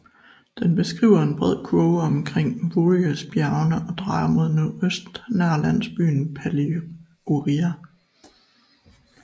Den beskriver en bred kurve omkring Vourinosbjergene og drejer mod nordøst nær landsbyen Paliouria